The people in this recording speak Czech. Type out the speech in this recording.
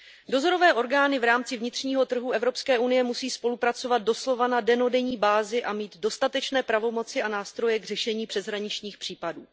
Dozorové orgány v rámci vnitřního trhu EU musí spolupracovat doslova na dennodenní bázi a mít dostatečné pravomoci a nástroje k řešení přeshraničních případů.